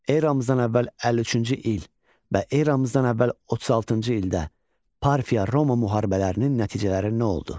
Eramızdan əvvəl 53-cü il və eramızdan əvvəl 36-cı ildə Parfiya-Roma müharibələrinin nəticələri nə oldu?